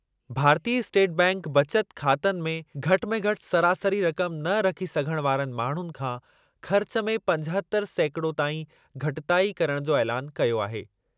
भारतीय स्टेट बैंकु बचत ख़ातनि में घटि में घटि सरासरी रक़म न रखी सघण वारनि माण्हुनि खां ख़र्चु में पंजहतरि सैकिड़ो ताईं घटिताई करणु जो ऐलानु कयो आहे।